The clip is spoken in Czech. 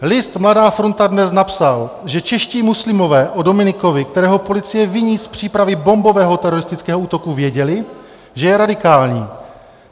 List Mladá fronta DNES napsal, že čeští muslimové o Dominikovi, kterého policie viní z přípravy bombového teroristického útoku, věděli, že je radikální.